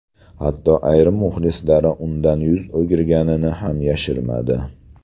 Hatto ayrim muxlislari undan yuz o‘girganini ham yashirmadi.